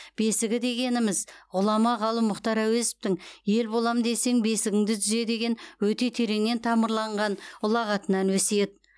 бесігі дегеніміз ғұлама ғалым мұхтар әуезовтың ел болам десең бесігіңді түзе деген өте тереңнен тамырланған ұлағатынан өсиет